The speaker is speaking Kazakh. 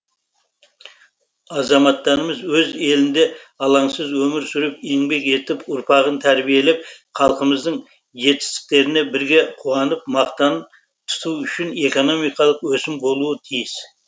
азаматтарымыз өз елінде алаңсыз өмір сүріп еңбек етіп ұрпағын тәрбиелеп халқымыздың жетістіктеріне бірге қуанып мақтан тұту үшін экономикалық өсім болуы тиіс